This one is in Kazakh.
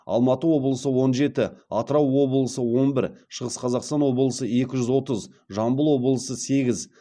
алматы облысы он жеті атырау облысы он бір шығыс қазақстан облысы екі жүз отыз жамбыл облысы сегіз